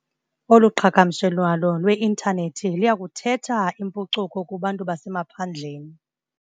Olu qhagamshelwano lweinthanethi liya kuthetha impucuko kubantu basemaphandleni.